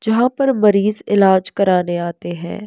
जहाँ पर मरीज़ इलाज कराने आते हैं।